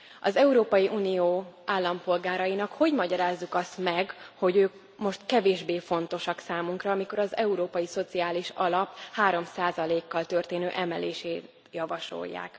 Az Európai Unió állampolgárainak hogy magyarázzuk azt meg, hogy ők most kevésbé fontosak számunkra, mikor az Európai Szociális Alap 3 kal történő emelését javasolják?